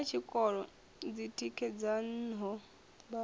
nnda ha tshikolo dzitikedzaho mbalo